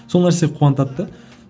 сол нәрсе қуантады да